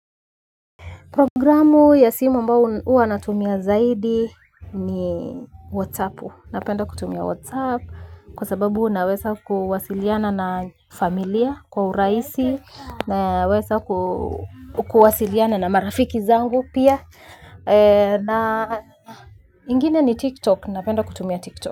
Programu ya simu ambayo huwa natumia zaidi ni WhatsApp. Napenda kutumia WhatsApp kwa sababu naweza kuwasiliana na familia kwa urahisi. Naweza kuwasiliana na marafiki zangu pia. Ingine ni TikTok. Napenda kutumia TikTok.